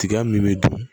Tiga min bɛ dun